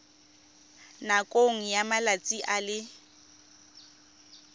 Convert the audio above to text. nakong ya malatsi a le